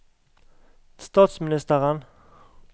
statsministeren